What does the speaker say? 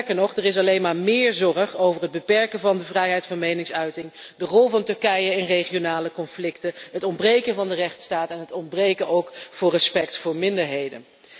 Sterker nog, er is alleen maar méér zorg over het beperken van de vrijheid van meningsuiting, de rol van Turkije in regionale conflicten, het ontbreken van de rechtsstaat en het ontbreken van respect voor minderheden.